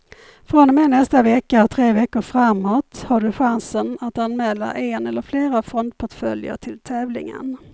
Från och med nästa vecka och tre veckor framåt har du chansen att anmäla en eller flera fondportföljer till tävlingen.